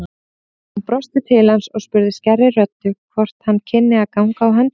Hún brosti til hans og spurði skærri röddu hvort hann kynni að ganga á höndum.